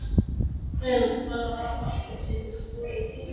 Greinilegt var að þankar mannsins voru í þyngra lagi.